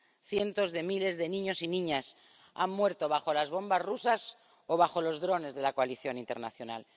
Cientos de miles de niños y niñas han muerto bajo las bombas rusas o bajo los drones de la coalición internacional.